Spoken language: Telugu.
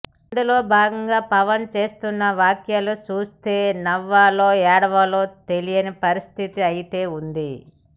ఇందులో భాగంగా పవన్ చేస్తున్న వ్యాఖ్యలు చూస్తే నవ్వాలో ఏడ్వాలో తెలియని పరిస్థితి అయితే ఉంది